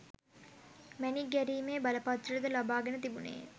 මැණික් ගැරීමේ බලපත්‍ර ද ලබාගෙන තිබුණේය